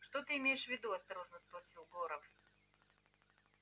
что ты имеешь в виду осторожно спросил горов